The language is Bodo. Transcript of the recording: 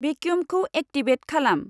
भेकिउमखौ एक्टिभेट खालाम।